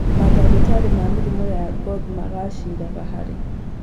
Mandagĩtarĩ ma mĩrimũ ya ngothĩ magacĩraga harĩ